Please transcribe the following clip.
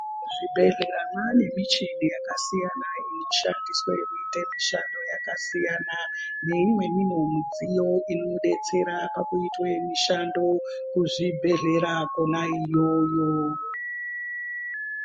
Mu zvibhedhlera mane michini yaka siyana ino sandiswa kuite mishando yaka siyana ne imweni wo mudziyo ino detsera paku itwe mushando ku zvibhedhlera kona iyoyo.